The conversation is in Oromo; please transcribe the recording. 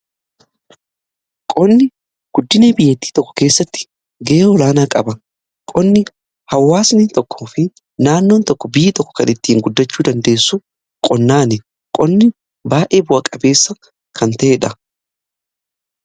qonni guddina biyatti tokkoo keessatti gahee olaanaa qaba. qonni hawaasnii tokko fi naannoon tokko biyyi tokko kan ittiin guddachuu dandeessu qonnaanidha. qonni baayyee bu'a-qabeessa kan ta'ee dha.